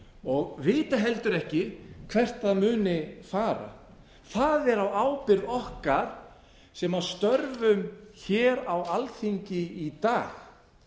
og vita heldur ekki hvert það muni fara það er á ábyrgð okkar sem störfum hér á alþingi í dag